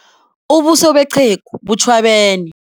Ubuso beqhegu butjhwabene.